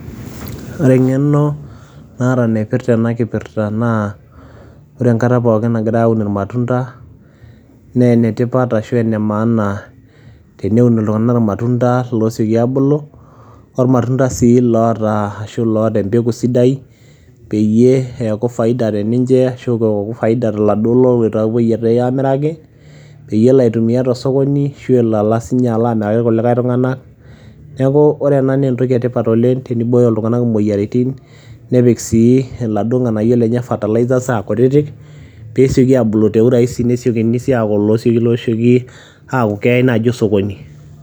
Ore eng'eno naata naipirita ena kipirta naa, ore enkata pookin nagira aun ilmatunda naa enetipat ashu enemanaana, teneun iltung'ana ilmatunda osioki abulu o ilmatunda sii oitoki oata embeko sidai, peyie eaku faida te ninche ashu eaku faida te laduo loloita aamiraki, peyie elo aitumia te sokoni ashu elo ala aamiraki ilkulikai tung'ana. Neaku ore ena naa entoki e tipat oleng' teneibooyo iltung'ana imoyaritin nepik sii iladuo lmatunda lenye fertilizer aa kutitik pee esioki abulu te urahisi pee esiokini sii aaku losioki aaku keyai naaji sokoni.